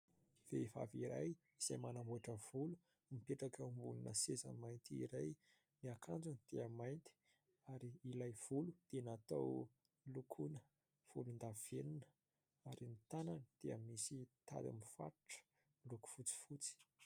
Vehivavy iray izay manamboatra volo no mipetraka eo ambonina seza mainty iray, ny akanjony dia mainty ary ilay volo dia natao lokona volondavenona ary ny tanany dia misy tady mifatotra miloko fotsifotsy.